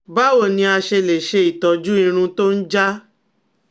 Báwo ni a ṣe lè se itoju irun to n ja?